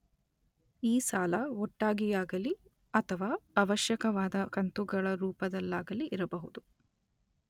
ಈ ಸಾಲ ಒಟ್ಟಾಗಿಯಾಗಲಿ ಅಥವಾ ಆವಶ್ಯಕವಾದ ಕಂತುಗಳ ರೂಪದಲ್ಲಾಗಲಿ ಇರಬಹುದು.